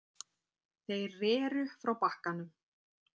Þeir reru frá bakkanum.